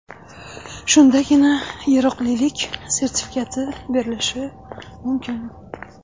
Shundagina yaroqlilik sertifikati berilishi mumkin.